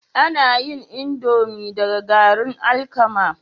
Ana yin indomie daga garin alkama